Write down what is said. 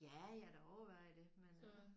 Ja jeg har da overvejet det men